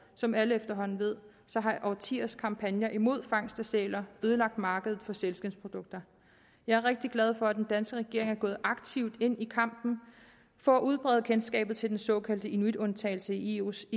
som alle efterhånden ved så har årtiers kampagner imod fangst af sæler ødelagt markedet for sælskindsprodukter jeg er rigtig glad for at den danske regering er gået aktivt ind i kampen for at udbrede kendskabet til den såkaldte inuitundtagelse i eu’s